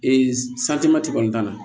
kɔni t'a la